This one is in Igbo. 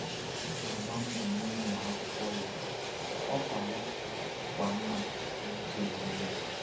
Ọ na-agba mbọ n’ịmụ akwụkwọ ya, ọkwa ya dịkwa mma n’ụzọ omume.